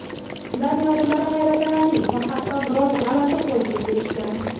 Daniya olimlari hayratlanarli va hatto biroz g‘alati xulosaga kelishgan.